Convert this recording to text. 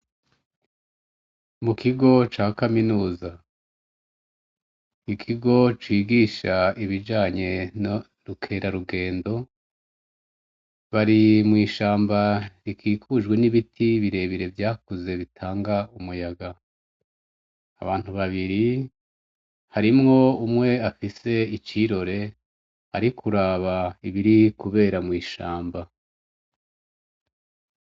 Mukigo ca kaminuza ,ikigo cigisha ibijanye nubukerarugendo .Barimwishamba rikikujwe nibiti birebire vyakuze bitanga numuyaga. abantu babiri hari nufise icirore Ari kuraba ibiri kubera mwishamba.